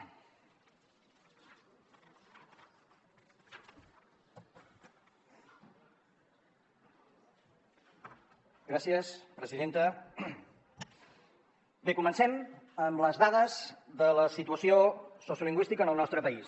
bé comencem amb les dades de la situació sociolingüística en el nostre país